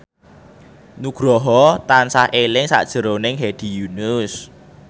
Nugroho tansah eling sakjroning Hedi Yunus